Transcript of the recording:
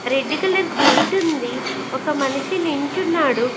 Red colour gate ఉంది ఒక మనిషి నించున్నాడు.